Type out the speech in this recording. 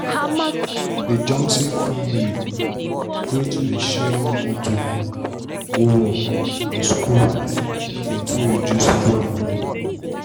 d johnson family gree to dey share one motor go work and school make dem fit reduce fuel money.